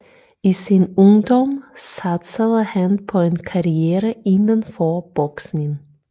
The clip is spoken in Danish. I sin ungdom satsede han på en karriere inden for boksning